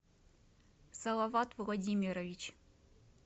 салават владимирович